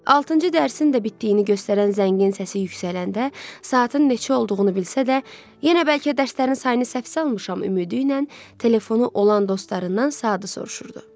Altıncı dərsin də bitdiyini göstərən zəngin səsi yüksələndə, saatın neçə olduğunu bilsə də, yenə bəlkə dərslərin sayını səhv salmışam ümidi ilə telefonu olan dostlarından saatı soruşurdu.